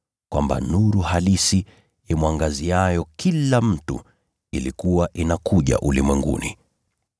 Kwamba nuru halisi, imwangaziayo kila mtu ilikuwa inakuja ulimwenguni.